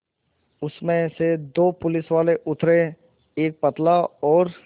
उसमें से दो पुलिसवाले उतरे एक पतला और